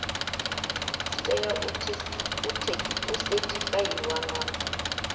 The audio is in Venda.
dzi tea u sethifaiwa nga